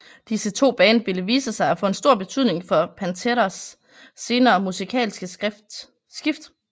Disse to band ville vise sig at få en stor betydning for Panteras senere musikalske skift